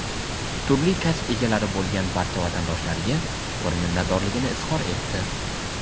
turli kasb egalari bo‘lgan barcha vatandoshlariga chuqur minnatdorligini izhor etdi.